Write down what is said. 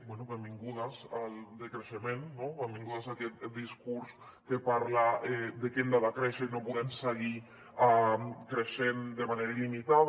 bé benvingudes al decreixement no benvingudes a aquest discurs que parla de que hem de decréixer i no podem seguir creixent de manera il·limitada